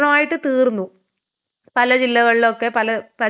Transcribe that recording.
പല ജില്ലകളിലൊക്കെ പല പഞ്ചായത്തിലും പല മുനിസിപ്പാലിറ്റിയിലൊക്കെ.